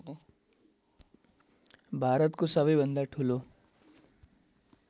भारतको सबैभन्दा ठूलो